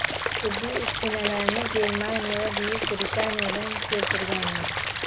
Tibbiy uskunalarni Germaniya va Buyuk Britaniyadan keltirganmiz.